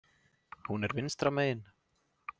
Hún er vinstra megin.